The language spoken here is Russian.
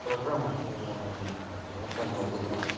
программа для локального бэкапа